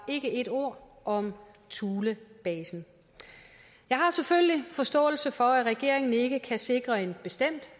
ét ord om thulebasen jeg har selvfølgelig forståelse for at regeringen ikke kan sikre en bestemt